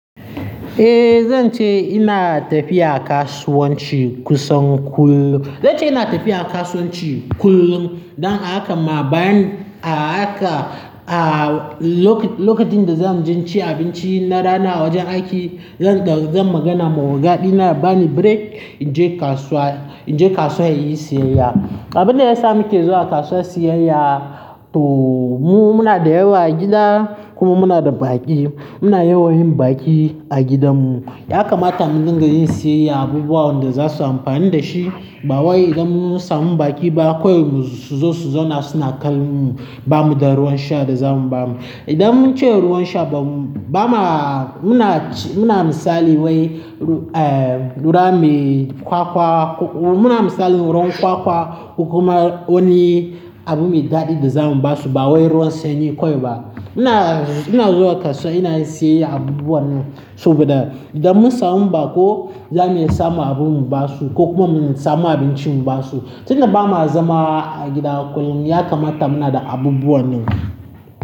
Eh zan ce ina tafiya kasuwanci kusan kullum. Zance ina tafiya kasuwanci kullum don haka hakan ma bayan a haka a lokacin da zan je in ci abinci na rana a wajen aiki, zan magana ma oga dina ya bani break in je kasuwa, in je kasuwa in yi siyayya. Abin da yasa muke zuwa kasuwa siyayya to mu muna da yawa a gida kuma muna da baki. Muna yawan yin baki a gidanmu. Ya kamata mu dinga yin siyayya abubuwan da za su amfani da shi. Ba wai idan mun samu baki ba kawai mu suzo su zauna suna kallon mu ba mu da ruwan sha da za mu ba mu. Idan mun ce ruwan sha bam, ba ma muna ci, muna misali wai ruwa mai kwakwa, muna misali ruwan kwakwa ko kuma wani abu ɗadi da za mu basu. Ba wai ruwan sanyi kawai ba. Muna, ina zuwa kasuwa, ina yin siyayyar abubuwa nan saboda idan mun samu baƙo za mu iya samu abu mu basu ko kuma mu iya samu abinci mu basu. Tinda bama zama a gida kullum ya kamata muna da abubuwa nan.